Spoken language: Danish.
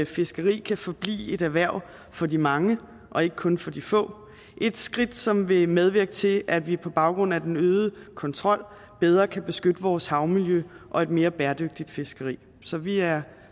fiskeri kan forblive et erhverv for de mange og ikke kun for de få et skridt som vil medvirke til at vi på baggrund af den øgede kontrol bedre kan beskytte vores havmiljø og et mere bæredygtigt fiskeri så vi er